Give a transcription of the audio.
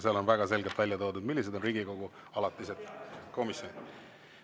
Seal on väga selgelt välja toodud, millised on Riigikogu alatised komisjonid.